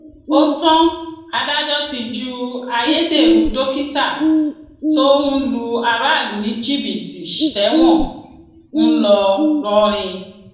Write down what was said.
ó tán adájọ ti ju ayédèrú dókítà tó ń lu aráàlú ní jìbìtì sẹwọn ńlọrọrìn